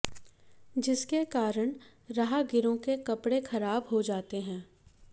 जिसके कारण राहगीरों के कपड़े खराब हो जाते हैं